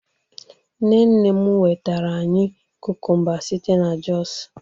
nne nne m wetara anyi kukumba site na jos